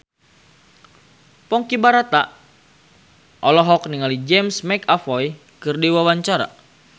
Ponky Brata olohok ningali James McAvoy keur diwawancara